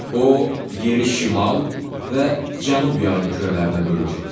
O yeri şimal və cənub yarımkürələrinə bölür.